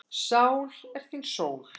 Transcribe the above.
Sál þín er sól.